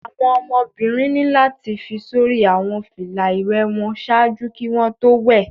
Awọn ọmọbirin ni lati fi sori awọn fila iwẹ wọn ṣaaju ki wọn to wẹ